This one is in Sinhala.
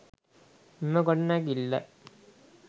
මෙම ගොඩනැගිල්ල